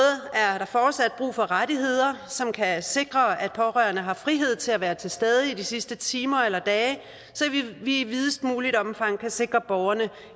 er der fortsat brug for rettigheder som kan sikre at pårørende har frihed til at være til stede i de sidste timer eller dage så vi i videst muligt omfang kan sikre borgerne